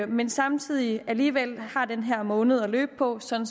men samtidig alligevel har den her måned at løbe på sådan